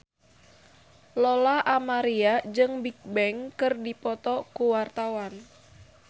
Lola Amaria jeung Bigbang keur dipoto ku wartawan